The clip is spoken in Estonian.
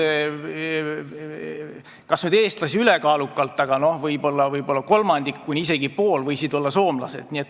Kas nüüd eestlasi seal ülekaalukalt oli, aga võib-olla kolmandik kuni isegi pool võisid olla soomlased.